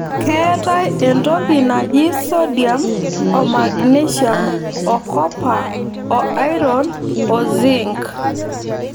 Keetae entoki naji sodiam o magnesium okopa o airon o zink.